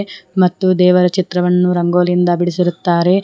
ಮತ್ತು ದೇವರ ಚಿತ್ರವನ್ನು ರಂಗೋಲಿಯಿಂದ ಬಿಡಿಸಿರುತ್ತಾರೆ.